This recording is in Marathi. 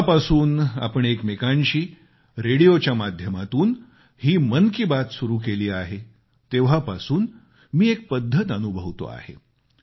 जेव्हापासून आपण एकमेकांशी रेडियोच्या माध्यमातून ही मन की बात सुरु केली आहे तेव्हापासून मी एक पद्धत अनुभवतो आहे